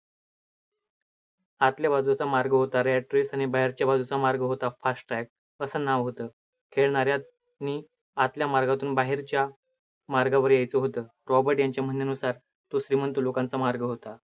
आतल्या बाजूचा मार्ग होता red track आणि बाहेरच्या बाजूचा मार्ग होता fasttrack असं नाव होतं. खेळणाऱ्यांनी आतल्या मार्गातून बाहेरच्या मार्गावर यायचं होतं. रॉबर्ट यांचे म्हणनेनुसार तो श्रीमंत लोकांचा मार्ग होता.